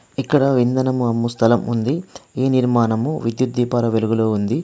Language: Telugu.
ఇక్కడ ఇంధనము అమ్ము స్థలం ఉంది. ఈ నిర్మాణము విద్యుత్ దీపాల వెలుగులో ఉంది.